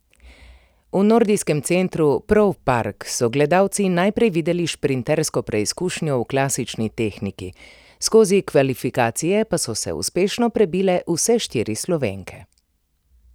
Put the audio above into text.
V nordijskem centru Prov Park so gledalci najprej videli šprintersko preizkušnjo v klasični tehniki, skozi kvalifikacije pa so se uspešno prebile vse štiri Slovenke.